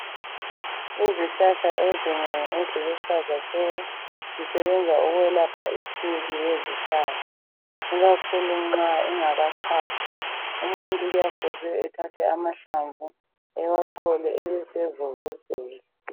Izihlahla ezinengi eziluhlaza tshoko zisebenza ukwelapha isiki ngezihlahla ikakhulu nxa ingaka xhwali umuntu kuyabe kufuze ethathe amahlamvu ewachole ebesevuvuzela .